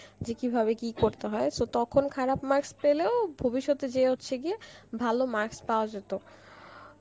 যে কি ভাবে কি করতে হয় so তখন খারাপ marks পেলেও, ভবিস্যতে যে হচ্ছে গিয়ে, ভালো marks পাওয়া যেত